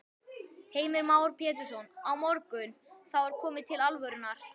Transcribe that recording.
Heimir Már Pétursson: Á morgun, þá er komið til alvörunnar?